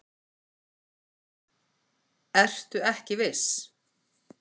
Ertu ekki viss?